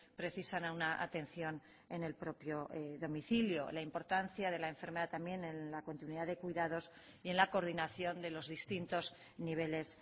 precisan a una atención en el propio domicilio la importancia de la enfermera también en la continuidad de cuidados y en la coordinación de los distintos niveles